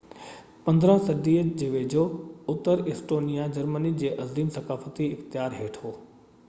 15 صدي جي ويجهو اتر ايسٽونيا جرمني جي عظيم ثقافتي اختيار هيٺ هو